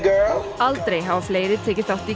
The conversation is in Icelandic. aldrei hafa fleiri tekið þátt í